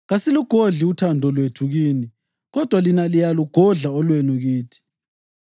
Kasilugodli uthando lwethu kini kodwa lina liyalugodla olwenu kithi.